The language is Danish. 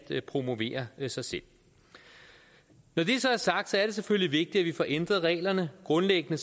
promovere sig selv når det så er sagt er det selvfølgelig vigtigt at vi får ændret reglerne grundlæggende